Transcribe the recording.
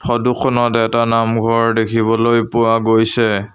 Photo খনত এটা নামঘৰ দেখিবলৈ পোৱা গৈছে।